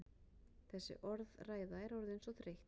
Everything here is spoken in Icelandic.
Þessi orðræða er orðin þreytt!